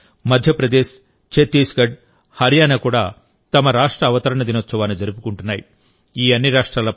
ఇదేవిధంగా మధ్యప్రదేశ్ ఛత్తీస్గఢ్ హర్యానా కూడా తమ రాష్ట్ర అవతరణ దినోత్సవాన్ని జరుపుకుంటున్నాయి